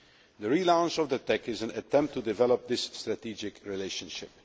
The relaunch of the TEC is an attempt to develop this strategic relationship.